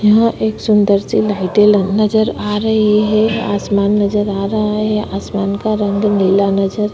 यहाँ एक सुंदर सी लाइटे नजर आ रही है आसमान नजर आ रहा है आसमान का रंग नीला नजर --